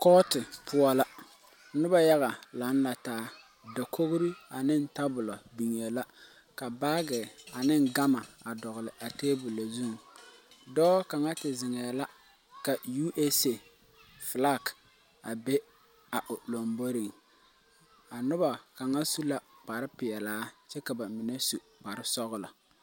Koɔti pou la ,nuba yaga lang la taa dakouri ani tabuli bengee la ka baagi ani gama a dɔgli a tabulo zung doɔ kanga te zengɛɛ la USA flag be a l lomboring a nuba kanga su ka kpare pelaa kye ka ba menne su kpare sɔglo.